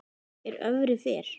er öfri fer